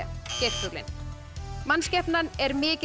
geirfuglinn mannskepnan er mikið